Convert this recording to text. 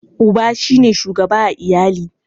Uba shi ne shugaba a iyali.